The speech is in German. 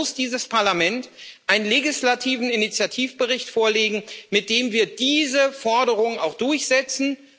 Und deshalb muss dieses Parlament einen legislativen Initiativbericht vorlegen, mit dem wir diese Forderung auch durchsetzen.